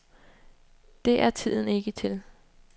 Det er tiden ikke til.